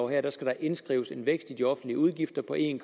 her skal indskrives en vækst i de offentlige udgifter på en